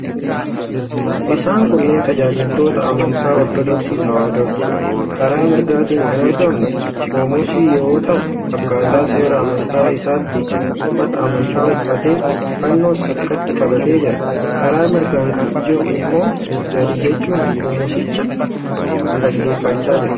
Isaan kunnneen tajaajiltoota amantaa Ortodoksii Tewaahidooti. Karaa mirgaatiin kan argamu qomosii yoo ta'u, akkaataa seera amantaa isaatti uffata amantaa uffatee, fannoos harkatti qabatee jira. Karaa mirgaan kan jiru immoo gadi jechuun qomosicha dhaggeeffachaa jira.